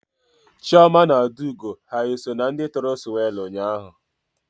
Chioma na Adaugo ha eso na ndị tụrụ swelu ụnyaahụ?